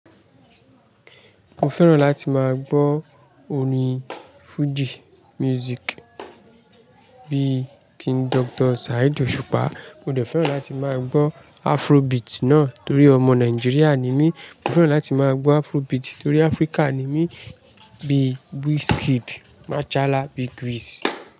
Mo fẹ́ràn láti máa gbọ́ orin Fuji Music bíi King Doctor Saheed Osupa, mo dẹ̀ fẹ́ràn láti máa gbọ́ Afrobeat náà torí ọmọ Nigeria ni mí, mo fẹ́ràn láti máa gbọ́ Afrobeat torí Africa ni mí bíi Wizkid, Machala, bíg Wiz.